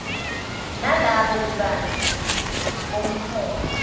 nalobo bubanzi bomholo